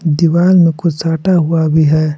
दीवार में कुछ साटा हुआ भी है।